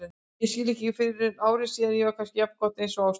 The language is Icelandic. Það skildi ég ekki fyrren ári síðar og var kannski jafngott einsog á stóð.